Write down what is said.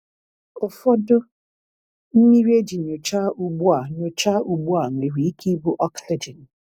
Ụfọdụ mmiri eji nyocha ugbu a nyocha ugbu a nwere ike ibu oxygen.